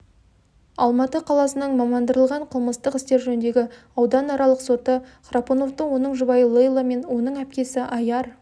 алматы қаласының мамандандырылғын қылмыстық істер жөніндегі ауданаралық соты храпуновты оның жұбайы лейла мен оның әпкесі айяр